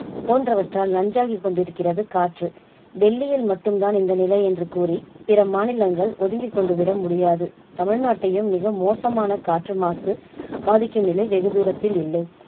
போன்றவற்றால் நஞ்சாகி கொண்டிருக்கிறது காற்று டெல்லியில் மட்டும் தான் இந்த நிலை என்று கூறி பிற மாநிலங்கள் ஒதுங்கி கொண்டுவிட முடியாது. தமிழ்நாட்டையும் மிக மோசமான காற்று மாசு பாதிக்கும் நிலை வெகு தூரத்தில் இல்லை.